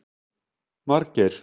Margeir